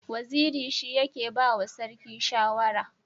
Waziri shi yake ba wa sarki shawara.